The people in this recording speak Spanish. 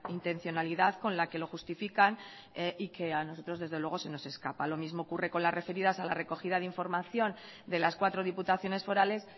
intencionalidad con la que lo justifican y que a nosotros desde luego se nos escapa lo mismo ocurre con las referidas a la recogida de información de las cuatro diputaciones forales